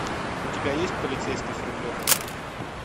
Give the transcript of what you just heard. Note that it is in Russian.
у тебя есть полицейский с рублевки